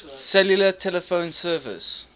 cellular telephone service